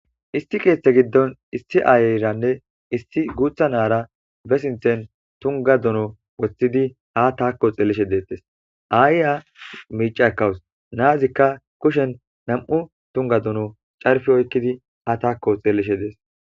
Issi keeththee giddon issi aayeeranne issi guuththa na7aara be sinththen tungga dono woththidi haa thaako xeellishe deeththes; aayiya miicca ekkawus; na7azikka kushen nam7u tungga dono carppi oykkidi haa thaakko xeellishe de7es.